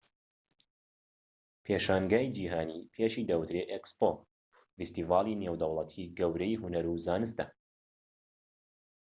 پێشانگەی جیهانی پێشی دەوترێت ئێکسپۆ فیستیڤاڵی نێودەوڵەتی گەورەی هونەر و زانستە